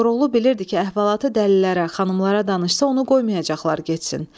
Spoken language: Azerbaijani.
Koroğlu bilirdi ki, əhvalatı dəlilərə, xanımlara danışsa, onu qoymayacaqlar getsin.